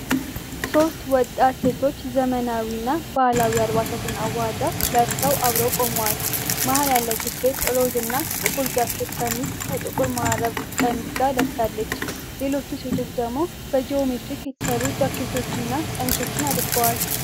ሶስት ወጣት ሴቶች ዘመናዊና ባህላዊ አልባሳትን አዋህደው ለብሰው አብረው ቆመዋል። መሀል ያለችው ሴት ሮዝ እና ጥቁር ጃኬት ቀሚስ ከጥቁር መረብ ቀሚስ ጋር ለብሳለች። ሌሎቹ ሴቶች ደግሞ በጂኦሜትሪክ የተሰሩ ጃኬቶችን እና ቀሚሶችን አድርገዋል።